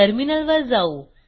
टर्मिनलवर जाऊ